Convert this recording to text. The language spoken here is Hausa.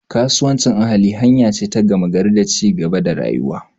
Kasuwancin ahali hanya ce ta gama gari ta ci gaba da rayuwa.